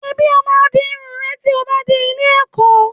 Ṣèbí ó máa di irun rẹ tí ó bá dé ilé-ẹ̀kọ́?